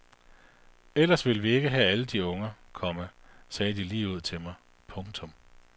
Ellers ville vi ikke have alle de unger, komma sagde de ligeud til mig. punktum